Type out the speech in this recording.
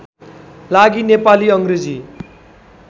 लागि नेपाली अङ्ग्रेजी